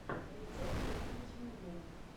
рецепты на ютьюбе